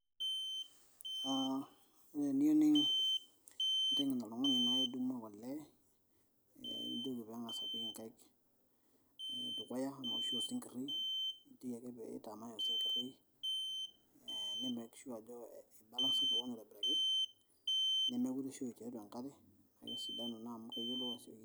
aa ore eniyieu ninteng'en oltung'ani naa idumu ake olee nijoki peeng'as apik inkaik dukuya ena oshi osinkirr nijoki ake piitamay osinkirr ee ni make sure ajo eibalansa kewon aitobiraki nemekureshoi tiatua enkare naa kesidanu naa amu keyiolou asioki.